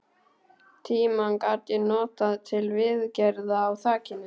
Tímann gat ég notað til viðgerða á þakinu.